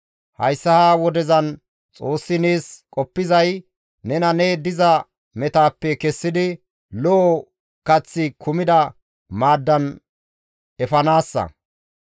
«Hayssa ha wodezan Xoossi nees qoppizay nena ne diza metaappe kessidi lo7o kaththi kumida maaddan efanaassa.